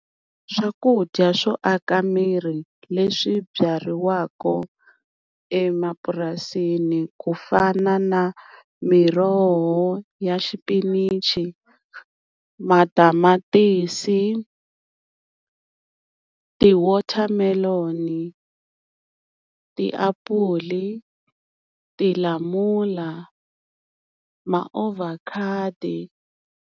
Swakudya swo aka miri leswi byariwaka emapurasini ku fana na miroho ya xipinichi, matamatisi, tiwatermelon, tiapula, tilamula, maavocado.